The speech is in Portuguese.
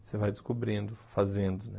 Você vai descobrindo, fazendo,